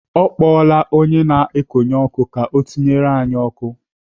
Ọ kpọọla onye na-ekonye ọkụ ka ọ tinyere anyị ọkụ.